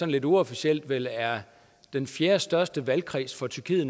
lidt uofficiel vel er den fjerdestørste valgkreds for tyrkiet